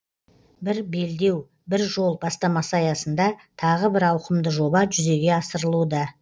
бір белдеу бір жол бастамасы аясында тағы бір ауқымды жоба жүзеге асырылуда